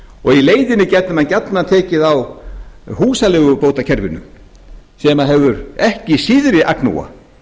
og í leiðinni gætu menn gjarnan tekið á húsaleigubótakerfinu sem hefur ekki síðri agnúa